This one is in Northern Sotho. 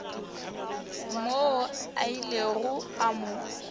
moo a ilego a mo